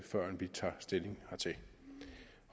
førend vi tager stilling hertil